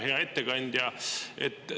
Hea ettekandja!